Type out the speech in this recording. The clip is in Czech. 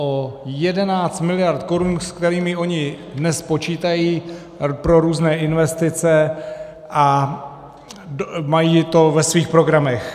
O 11 miliard korun, se kterými ony dnes počítají pro různé investice, a mají to ve svých programech.